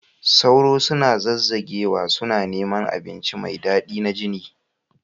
Sauro suna zazzagewa, suna neman abinci mai daɗi na jini